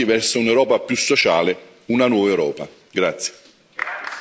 Un enorme passo avanti verso un'Europa più sociale, una nuova Europa.